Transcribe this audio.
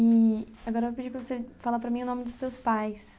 E agora eu vou pedir para você falar para mim o nome dos seus pais.